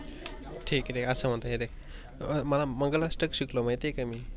ठीक अस म्हणतो मला मंगल आष्ठ शिकलो मी माहित आहे मी.